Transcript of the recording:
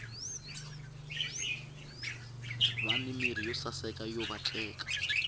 vani mirhi yo saseka yo vatleka